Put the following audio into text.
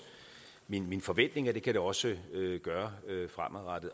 min forventning at det kan det også gøre fremadrettet